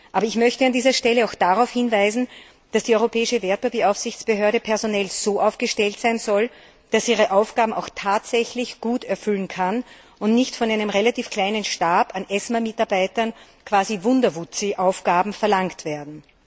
Aber ich möchte auch darauf hinweisen, dass die Europäische Wertpapieraufsichtsbehörde personell so aufgestellt sein sollte, dass sie ihre Aufgaben auch tatsächlich gut erfüllen kann und nicht von einem relativ kleinen Stab an ESMA Mitarbeitern quasi Wunderwuzzi Aufgaben verlangt werden.